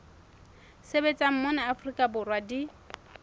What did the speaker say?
sebetsang mona afrika borwa di